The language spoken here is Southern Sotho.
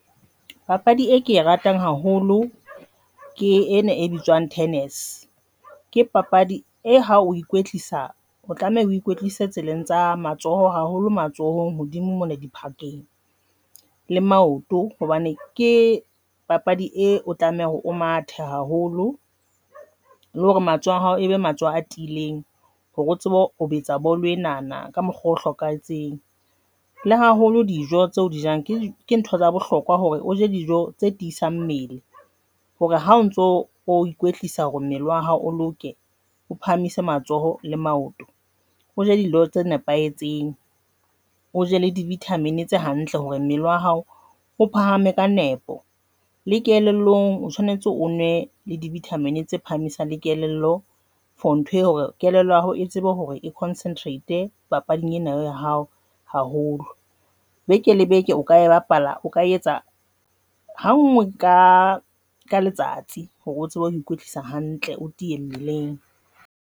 Papadi e ke e ratang haholo ke ena e bitswang tennis ke papadi e ha o ikwetlisa, o tlameha ukwehlise tseleng tsa matsoho haholo matsohong hodimo mona diphakeng le maoto hobane ke papadi eo o tlameha o mathe haholo le hore matsoho a hao ebe matsoho a tiileng hore o tsebe o betsa bolo enana ka mokgwa o hlokahetseng le haholo dijo tseo di jang, ke ke ntho tsa bohlokwa hore o je dijo tse tiisang mmele hore ha o ntso o ikwetlisa hore mmele wa hao o loke o phahamise matsoho le maoto, o je dijo tse nepahetseng, o je le di-vitamin tse hantle hore mmele wa hao o phahame ka nepo le kelellong, o tshwanetse, o nwe le di-vitamin tse phahameng sa le kelello for ntho hore kelello ya hao e tsebe hore e concentrate papading ena ya hao haholo beke le beke o kae bapala O ka etsa ha ngoe ka ka letsatsi hore o tsebe ho ikwetlisa hantle.